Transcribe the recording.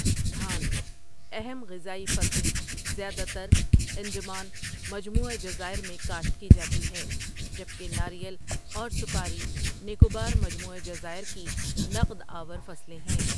دھان، اہم غذائی فصل، زیادہ تر انڈمان مجموعۂ جزائر میں کاشت کی جاتی ہے، جبکہ ناریل اور سپاری نیکوبار مجموعۂ جزائر کی نقد آور فصلیں ہیں۔